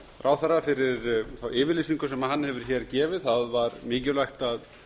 ráðherra fyrir þá yfirlýsingu sem hann hefur gefið hér það var mikilvægt að